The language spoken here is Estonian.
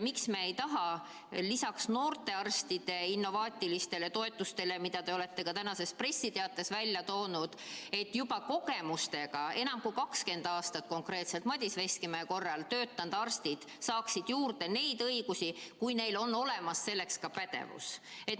Miks me ei taha lisaks sellele, et noortel arstidel on innovaatilised toetused, mida te olete ka tänases pressiteates välja toonud, seda, et juba kogemustega arstid saaksid juurde õigusi, kui neil on olemas selleks pädevus?